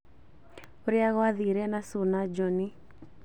ũrĩa gwathire na sue na johnnie